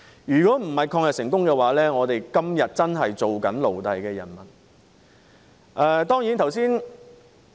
如果不是抗日成功，我們今天真的是"做奴隸的人們"。